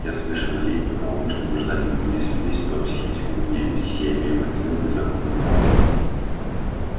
я совершеннолетний правомочный гражданин у меня есть свидетельство о психической вменяемости и я имею определённые законные права